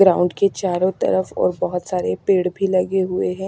Ground के चारों तरफ और बहोत सारे पेड़ भी लगे हुए हैं।